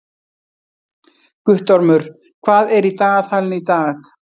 Guttormur, hvað er í dagatalinu í dag?